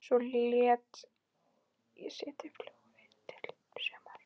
Svo lét ég settið fjúka í sumar.